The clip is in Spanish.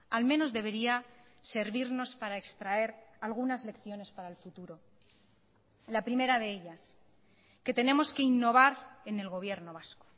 al menos debería servirnos para extraer algunas lecciones para el futuro la primera de ellas que tenemos que innovar en el gobierno vasco